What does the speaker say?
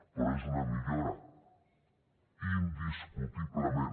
però és una millora indiscutiblement